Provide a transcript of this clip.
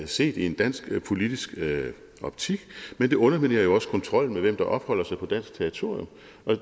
set i en dansk politisk optik men det underminerer jo også kontrollen med hvem der opholder sig på dansk territorium